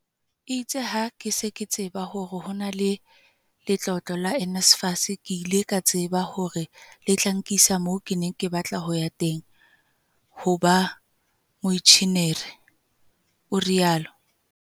"Itse ha ke se ke tseba hore ho na le letlolo la NSFAS, ke ile ka tseba hore le tla nkisa moo ke neng ke batla ho ya teng - ho ba moenjenieri," o rialo.